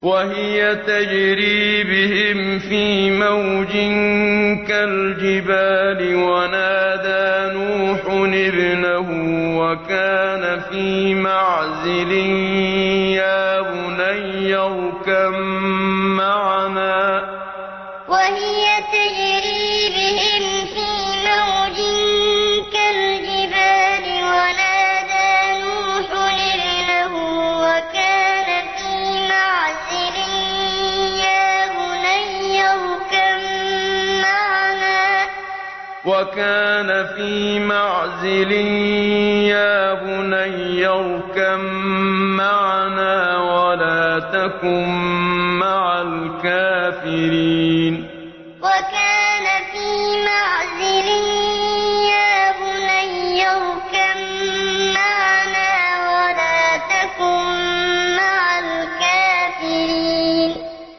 وَهِيَ تَجْرِي بِهِمْ فِي مَوْجٍ كَالْجِبَالِ وَنَادَىٰ نُوحٌ ابْنَهُ وَكَانَ فِي مَعْزِلٍ يَا بُنَيَّ ارْكَب مَّعَنَا وَلَا تَكُن مَّعَ الْكَافِرِينَ وَهِيَ تَجْرِي بِهِمْ فِي مَوْجٍ كَالْجِبَالِ وَنَادَىٰ نُوحٌ ابْنَهُ وَكَانَ فِي مَعْزِلٍ يَا بُنَيَّ ارْكَب مَّعَنَا وَلَا تَكُن مَّعَ الْكَافِرِينَ